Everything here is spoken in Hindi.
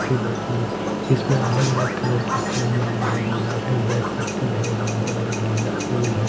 अच्छी जाती है इसमें अलग अलग कलर के फूल माला है गुलाबी है पर्पल है येलो है गेंदा फूल है।